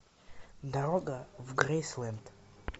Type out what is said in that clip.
дорога в грейсленд